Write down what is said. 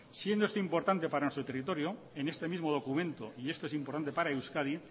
siendo esto importante para nuestro territorio en este mismo documento y esto es importante para euskadi